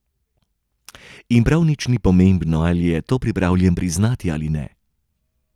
In prav nič ni pomembno, ali je to pripravljen priznati ali ne.